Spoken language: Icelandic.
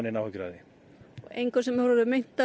áhyggjur af þessu engum orðið meint af